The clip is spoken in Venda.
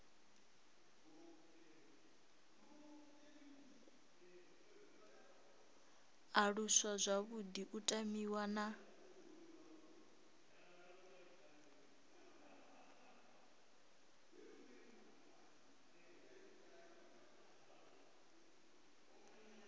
aluswa zwavhuḓi u tamiwa na